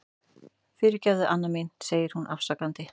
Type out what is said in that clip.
Fyrirgefðu, amma mín, segir hún afsakandi.